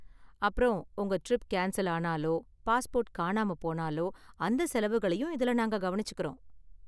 அப்புறம், உங்க trip cancel ஆனாலோ, பாஸ்போர்ட் காணாம போனாலோ அந்த செலவுகளையும் இதுல நாங்கள் கவனிச்சுக்கிறோம்.